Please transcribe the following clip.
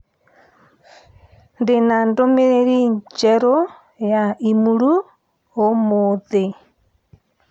Ndi na ndũmĩrĩri njerũ ya i-mīrū ũmũthĩ